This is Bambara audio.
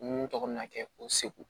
Mun tɔgɔ bɛ na kɛ o segu